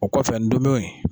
O kɔfɛ ndomi